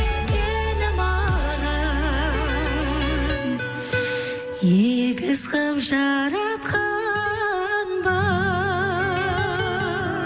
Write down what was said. сені маған егіз қылып жаратқан ба